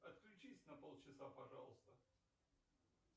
отключись на полчаса пожалуйста